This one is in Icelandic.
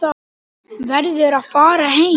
Verður að fara heim.